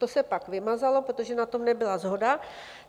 To se pak vymazalo, protože na tom nebyla shoda.